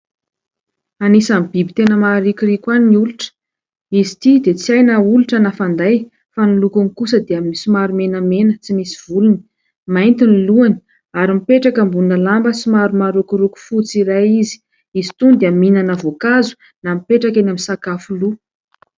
Anisan'ny biby tena maharikoriko ahy ny olotra, izy ity dia tsy hay na olotra na fanday fa ny lokony kosa dia somary menamena tsy misy volony. Mainty ny lohany, ary mipetraka ambonina lamba marokoroko fotsy iray izy. Izy itony dia mihinana voankazo na mipetraka eny amin'ny sakafo lo.